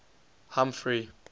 humphrey